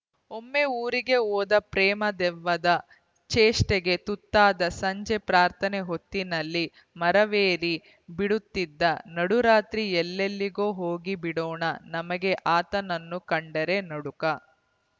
ಒಮ್ಮೆ ಊರಿಗೆ ಹೋದ ಪ್ರೇಮ ದೆವ್ವದ ಚೇಷ್ಟೆಗೆ ತುತ್ತಾದ ಸಂಜೆ ಪ್ರಾರ್ಥನೆ ಹೊತ್ತಿನಲ್ಲಿ ಮರವೇರಿ ಬಿಡುತ್ತಿದ್ದ ನಡುರಾತ್ರಿ ಎಲ್ಲಿಲ್ಲೆಗೋ ಹೋಗಿ ಬಿಡೋಣ ನಮಗೆ ಆತನನ್ನು ಕಂಡರೆ ನಡುಕ